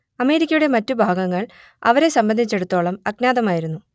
അമേരിക്കയൂടെ മറ്റു ഭാഗങ്ങൾ അവരെ സംബന്ധിച്ചെടുത്തോളം അജ്ഞാതമായിരുന്നു